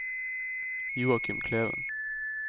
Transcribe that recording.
Joachim Kleven